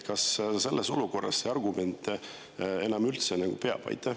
Kas selles olukorras see argument enam üldse peab?